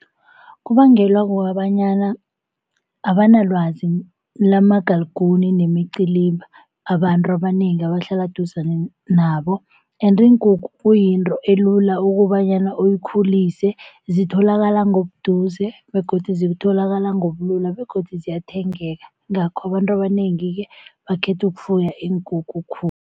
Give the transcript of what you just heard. Kubangelwa kukobanyana abanalwazi lamagaliguni nemiciliba abantu abanengi abahlala eduzane nabo, ende iinkukhu kuyinto elula ukobanyana uyikhulise. Zitholakala ngobuduze begodu zitholakala ngobulula begodu ziyathengeka yingakho abantu abanengi-ke bakhetha ukufuya iinkukhu khulu.